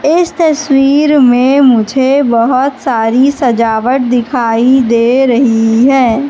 इस तस्वीर में मुझे बहोत सारी सजावट दिखाई दे रही है।